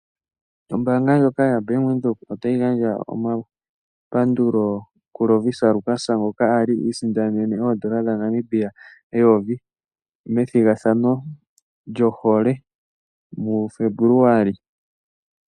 Ombaanga ndjoka yaBank Windhoek otayi gandja omapandulo kuLovisa Lukas ngoka a li i isindanene oodola dhaNamibia eyovi methigathano lyohole muFebuluali.